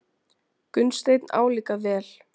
Gunnsteinn álíka vel.